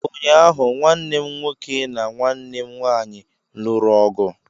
Ụnyaahụ, nwanne m nwoke na nwanne m nwanyị lụrụ ọgụ